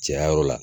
Caya yɔrɔ la